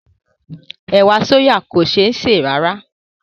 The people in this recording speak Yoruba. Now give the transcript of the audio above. Ẹ̀wà sóyà kò ṣé sè rárá